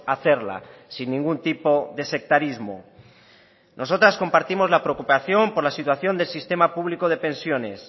a hacerla sin ningún tipo de sectarismo nosotras compartimos la preocupación por la situación del sistema público de pensiones